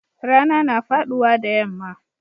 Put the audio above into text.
Rana na faduwa da yamma.